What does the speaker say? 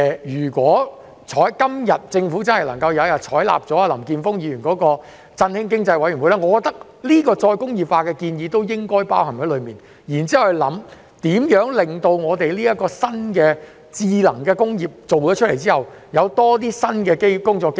如果政府今天真的能夠採納林健鋒議員有關成立振興經濟委員會的建議，我認為再工業化的建議亦應包含在內，然後研究在這個新的智能工業推出後，如何給予青年人更多新的工作機會。